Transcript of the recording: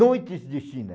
Noites de China.